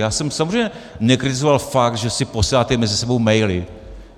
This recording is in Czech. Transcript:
Já jsem samozřejmě nekritizoval fakt, že si posíláte mezi sebou maily.